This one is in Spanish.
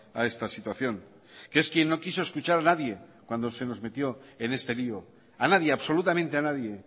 a esta situación que es quien no quiso escuchar a nadie cuando se nos metió en este lío a nadie absolutamente a nadie